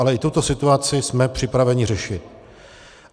Ale i tuto situaci jsme připraveni řešit.